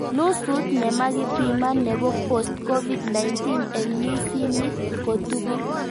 Nusut nemakipiman nebo Post-COVID-19 eng misinit kotugul